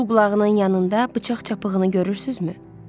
Sol qulağının yanında bıçaq çapığını görürsünüzmü?